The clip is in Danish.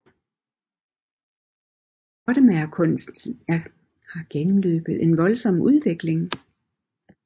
Pottemagerkunsten har gennemløbet en voldsom udvikling